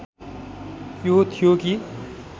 यो थियो कि